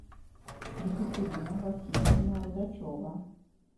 екатерина васильевна рудачева